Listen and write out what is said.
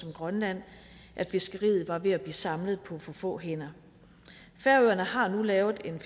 grønland at fiskeriet var ved at blive samlet på for få hænder færøerne har nu lavet en